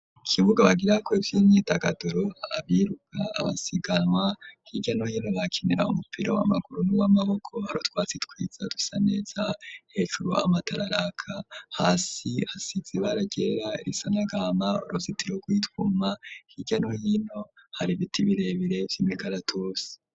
Ikibuga bagira ko ivy'imyitagaduro abiruka, abasiganwa h'irya no hino bakinira umupira w'amaguru ,n'iw'amaboko ,harutwatsi twiza dusa neza ,hejuru amatara araka ,hasi hasizi bara ryera, risanagahama ,uruzitiro rwitwuma hirya no hino hari ibiti birebere vy'imikaratusi.